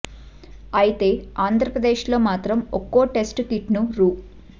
అయితే ఆంధప్రదేశ్ లో మాత్రం ఒక్కో టెస్టు కిట్ ను రూ